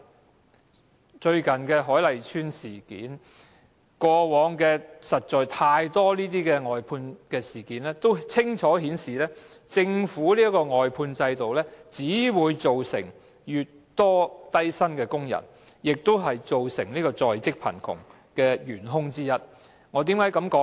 大家也看到最近的海麗邨事件，而過往實在有太多有關外判的事件均清楚顯示，政府的外判制度只會造成更多低薪工人，亦是造成在職貧窮的元兇之一。